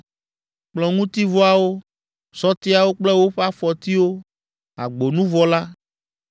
kplɔ̃ŋutivɔawo, sɔtiawo kple woƒe afɔtiwo, agbonuvɔ la,